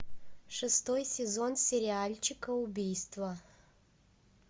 шестой сезон сериальчика убийство